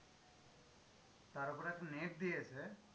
তার ওপরে একটা net দিয়েছে,